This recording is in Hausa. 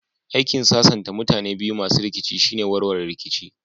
Aikin sasanta mutane biyu masu rikici shine warware rikici